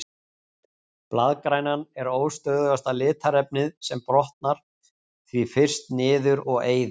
Blaðgrænan er óstöðugasta litarefnið og brotnar því fyrst niður og eyðist.